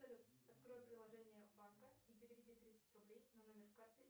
салют открой приложение банка и переведи тридцать рублей на номер карты